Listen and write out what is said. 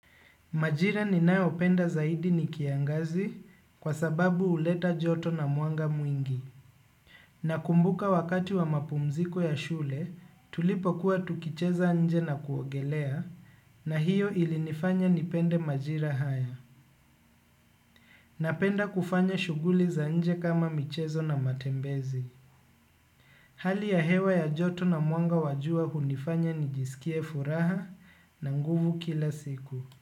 Majira ninayopenda zaidi nikiangazi kwa sababu huleta joto na mwanga mwingi. Nakumbuka wakati wa mapumziko ya shule tulipo kuwa tukicheza nje na kuongelea na hiyo ili nifanya nipende majira haya. Napenda kufanya shuguli za nje kama michezo na matembezi. Hali ya hewa ya joto na mwanga wajua hunifanya nijisikie furaha na nguvu kila siku.